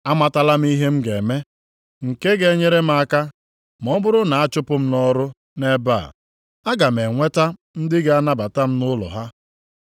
Amatala m ihe m ga-eme, nke a ga-enyere m aka ma ọ bụrụ na a chụpụ m nʼọrụ nʼebe a, aga m enweta ndị ga-anabata m nʼụlọ ha.’